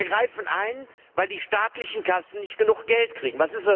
Wir greifen ein, weil die staatlichen Kassen nicht genug Geld kriegen.